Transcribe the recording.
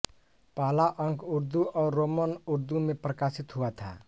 पहला अंक उर्दू और रोमन उर्दू में प्रकाशित हुआ था